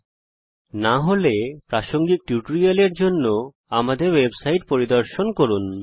যদি না হয় তাহলে জীয়োজেব্রার উপর প্রাসঙ্গিক টিউটোরিয়ালের জন্য কথ্য টিউটোরিয়ালের ওয়েবসাইট পরিদর্শন করুন